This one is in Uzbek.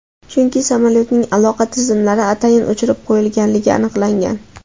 Chunki samolyotning aloqa tizimlari atayin o‘chirib qo‘yilganligi aniqlangan.